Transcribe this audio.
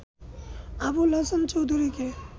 আবুল হাসান চৌধুরীকে